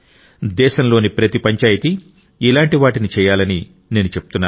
దేశంలోని ప్రతి పంచాయితీ ఇలాంటి వాటిని చేయాలని నేను చెప్తున్నాను